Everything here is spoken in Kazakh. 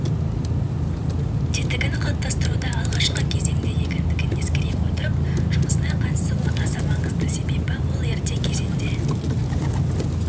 тетігін қалыптастыруда алғашқы кезеңде екендігін ескере отырып жұмысына қатысуы аса маңызды себебі ол ерте кезенде